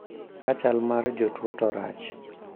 Ka chal mar jotuo to rach